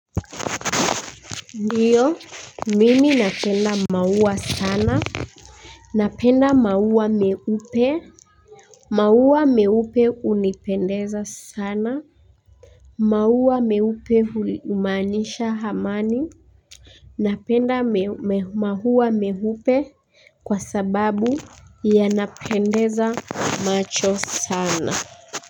Ndiyo mimi napenda maua sana napenda maua meupe maua meupe hunipendeza sana. Maua meupe humaanisha amani napenda maua meupe kwa sababu yanapendeza macho sana.